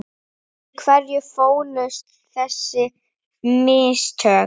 Í hverju fólust þessi mistök?